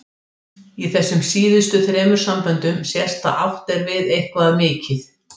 Í þessum síðustu þremur samböndum sést að átt er við eitthvað mikið.